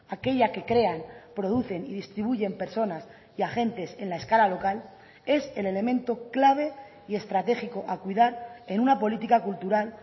aquella que crean producen y distribuyen personas y agentes en la escala local es el elemento clave y estratégico a cuidar en una política cultural